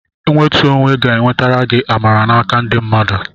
Nwetu onwe ga-enwetara gị amara n'aka ndị mmadụ.